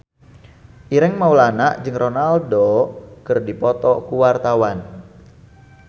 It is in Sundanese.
Ireng Maulana jeung Ronaldo keur dipoto ku wartawan